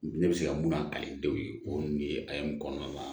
Ne bɛ se ka mun na kalandenw ye o de ye kɔnɔna na